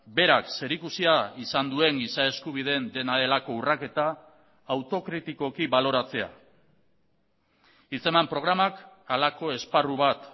berak zerikusia izan duen giza eskubideen dena delako urraketa autokritikoki baloratzea hitz eman programak halako esparru bat